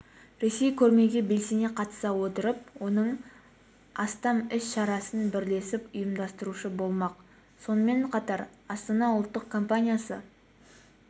ресей көрмеге белсене қатыса отырып оның астам іс-шарасын бірлесіп ұйымдастырушы болмақ сонымен қатар астана ұлттық компаниясы